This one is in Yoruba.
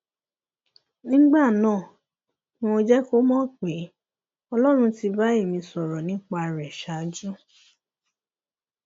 nígbà náà ni mo jẹ kó mọ pé ọlọrun ti bá ẹmí sọrọ nípa rẹ ṣáájú